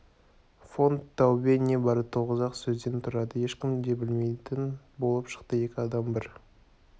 фон таубе небары тоғыз-ақ сөзден тұрады ешкім де білмейтін болып шықты екі адам бір